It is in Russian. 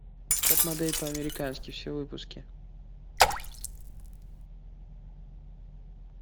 топ модель по американски все выпуски